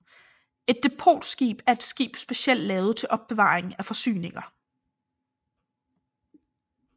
Et depotskib er et skib specielt lavet til opbevaring af forsyninger